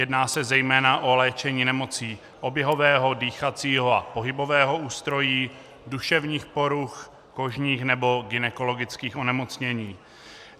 Jedná se zejména o léčení nemocí oběhového, dýchacího a pohybového ústrojí, duševních poruch, kožních nebo gynekologických onemocnění.